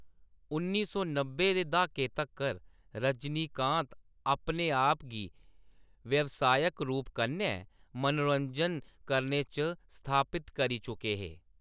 उन्नी सौ नब्बै दे द्हाके तक्कर रजनीकांत अपने आप गी व्यवसायक रूप कन्नै मनोरंजन करने च स्थापत करी चुके हे।